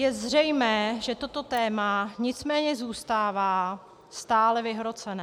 Je zřejmé, že toto téma nicméně zůstává stále vyhrocené.